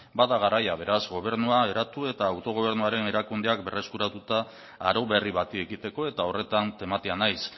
bada garaia beraz gobernua eratu eta autogobernuaren erakundeak berreskuratuta arau berri bati ekiteko eta horretan tematia naiz